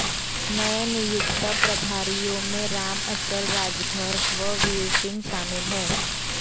नए नियुक्त प्रभारियों में रामअचल राजभर व वीरसिंह शामिल है